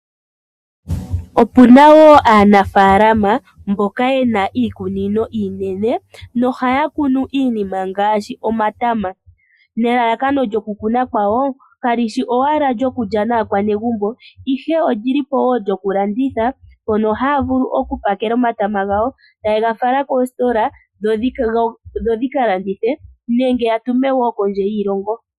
Opuna aanafaalama mboka yena ofaalama dhomatama. Elalakano lyokukuna omatama kali shi owala okuliwa koonakugalonga ashike ohaga pakelwa nawa etaga falwa kondje yiilongo nenge meni lyoshilongo , gawape okulandithwa.